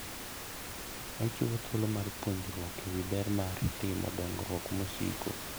Ochiwo thuolo mar puonjruok e wi ber mar timo dongruok mosiko.